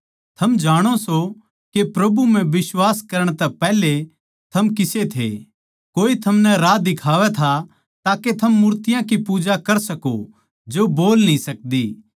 थम जाणो सो के प्रभु म्ह बिश्वास करण तै पैहले थम किसे थे कोए थमनै राह दिखावै था ताके थम मूर्तियाँ की पूजा कर सको जो बोल न्ही सकदी